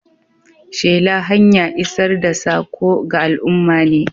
Shela hanya isar da saƙo ga al'umma ne.